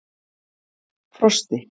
Frosti